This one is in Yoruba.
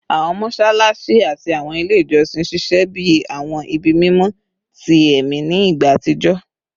Awọn mọṣalaṣi ati awọn ile ijọsin ṣiṣẹ bi awọn ibi mimọ ti ẹmi ni igba atijọ